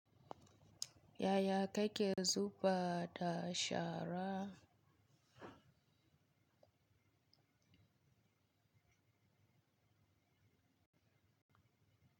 Yaya ka ke da zuɓa da shara?